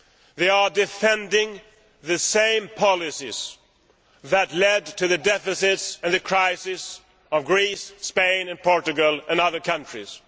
They are defending the same policies that led to the deficits and the crisis of Greece, Spain and Portugal and other countries.